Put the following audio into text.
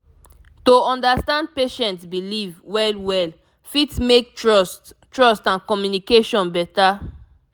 to understand patient belief well well fit make trust trust and communication better